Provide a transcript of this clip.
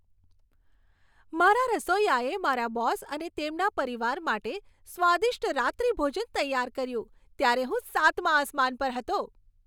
મારા રસોઈયાએ મારા બોસ અને તેમના પરિવાર માટે સ્વાદિષ્ટ રાત્રિભોજન તૈયાર કર્યું ત્યારે હું સાતમા આસમાન પર હતો.